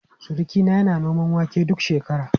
Surukina yana noman wake duk shekara.